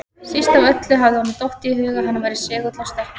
Síst af öllu hafði honum dottið í hug að hann væri segull á stelpur!